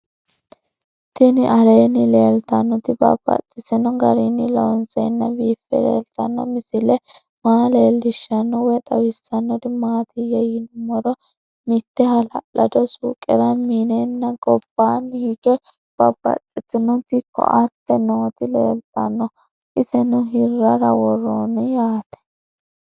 Tinni aleenni leelittannotti babaxxittinno garinni loonseenna biiffe leelittanno misile maa leelishshanno woy xawisannori maattiya yinummoro mitte hala'lado suuqera mineenna gobbanni hige babaxxittinnotti koatte nootti leelittanno. Isenno hiraarra woroonni yaatte